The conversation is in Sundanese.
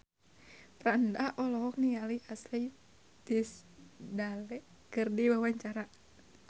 Franda olohok ningali Ashley Tisdale keur diwawancara